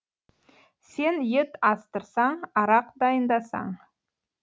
сен ет астырсаң арақ дайындасаң